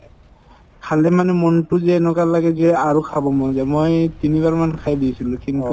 খালে মানে মনতো যে এনেকুৱা লাগে যে আৰু খাব মন যায় মই তিনিবাৰমান খাই দি আছিলো